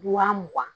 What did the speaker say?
Mugan mugan